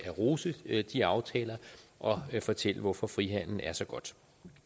rose de aftaler og fortælle hvorfor frihandel er så godt